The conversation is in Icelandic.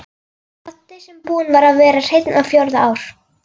Baddi sem búinn var að vera hreinn á fjórða ár.